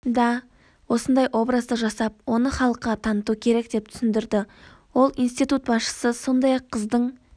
да осындай образды жасап оны халыққа таныту керек деп түсіндірді ол институт басшысы сондай-ақ қыздың